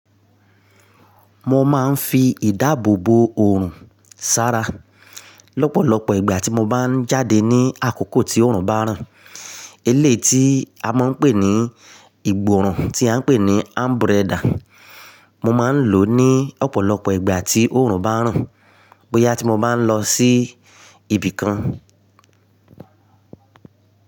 Mo máa ń fi ìdáàbò bo òrùn ṣára lọ́pọ̀lọpọ̀ ìgbà tí mo bá ń jáde ní àkókò tí òrùn bá ràn. Eléyi tí a máa ń pè ní ìgbòòrùn tí a ń pè ní anbrẹda. Mo máa ń lò ó ní ọ̀pọ̀lọpọ̀ ìgbà tí òrùn bá ràn bóyá tí mo bá ń lọ sí ibì kan.